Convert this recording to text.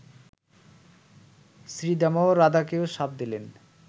শ্রীদামাও রাধাকে শাপ দিলেন